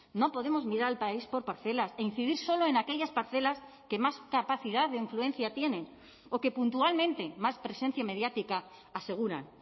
no podemos mirar al país por parcelas e incidir solo en aquellas parcelas que más capacidad de influencia tienen o que puntualmente más presencia mediática aseguran